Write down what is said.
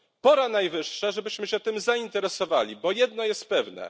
Pora najwyższa, żebyśmy się tym zainteresowali, bo jedno jest pewne.